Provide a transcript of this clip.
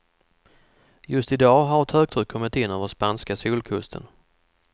Just i dag har ett högtryck kommit in över spanska solkusten.